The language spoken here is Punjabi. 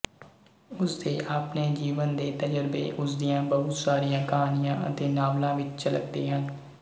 ਉਸਦੇ ਆਪਣੇ ਜੀਵਨ ਦੇ ਤਜ਼ਰਬੇ ਉਸਦੀਆਂ ਬਹੁਤ ਸਾਰੀਆਂ ਕਹਾਣੀਆਂ ਅਤੇ ਨਾਵਲਾਂ ਵਿੱਚ ਝਲਕਦੇ ਹਨ